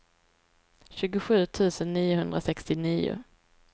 tjugosju tusen niohundrasextionio